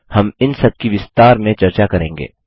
हम इन सबकी विस्तार में चर्चा करेंगे